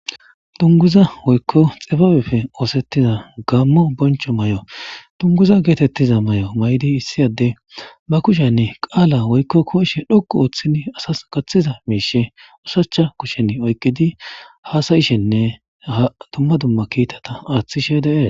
Dunguza woykko xibaabefe oosettiza gammo boncho may7o dunguza geetettiza may7o maydi issi adde ba kushenni qaala woykko koishe dhoqu ooththidi asas kaththiza miishe ushacha kushen oyqidi hasayishenne ha dumma dumma kiitata aaththishe dee.